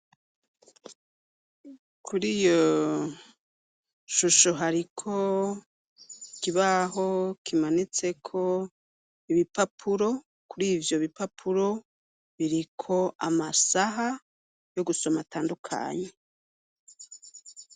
Kuri yo shusho hariko kibaho kimanitseko ibipapuro kuri ivyo bipapuro biriko amasaha yo gusoma atandukanyi.